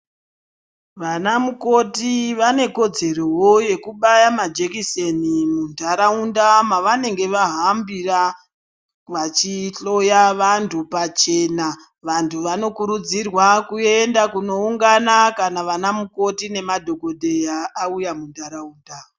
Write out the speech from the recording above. Vana mukoti vanekodzerowo yekubaya majekiseni mundaraunda mavanenge vahambira vachihloya vantu pachena .Vantu vanokurudzirwa kuenda kundoungana kana vana mukoti nemadhokodheya vachinge vauya mundaraunda .